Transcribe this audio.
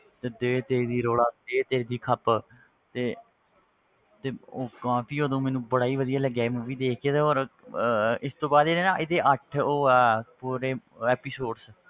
ਤੇ ਦੇ ਦੇ ਦੀ ਰੌਲਾ ਦੇ ਦੇ ਦੀ ਖੱਪ ਤੇ ਤੇ ਉਹ ਕਾਫ਼ੀ ਉਦੋਂ ਮੈਨੂੰ ਬੜਾ ਹੀ ਵਧੀਆ ਲੱਗਿਆ ਸੀ movie ਦੇਖ ਕੇ ਤੇ ਔਰ ਅਹ ਇਸ ਤੋਂ ਬਾਅਦ ਇਹ ਨਾ ਇਹਦੀ ਅੱਠ ਉਹ ਹੈ ਪੂਰੇ episodes